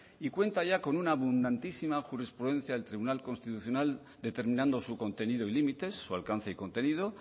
y cuenta ya con una abundantísima jurisprudencia del tribunal constitucional determinando su contenido y límites su alcance y contenido